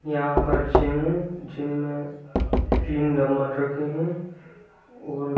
यहाँ पर जिम है जिम में तीन डम्बल रखे हैं। और--